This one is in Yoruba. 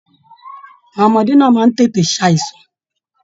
Àwọn ọmọdé náà máa n tètè ṣàìsàn.